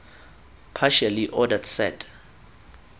partially ordered set